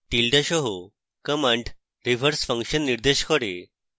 tilda সহ command reverse function নির্দেশ করে